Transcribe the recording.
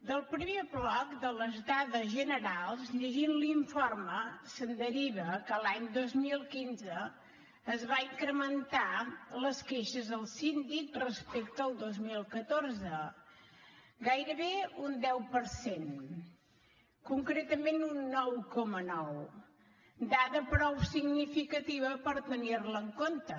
del primer bloc de les dades generals llegint l’informe se’n deriva que l’any dos mil quinze es van incrementar les queixes al síndic respecte al dos mil catorze gairebé un deu per cent concretament un nou coma nou dada prou significativa per tenir la en compte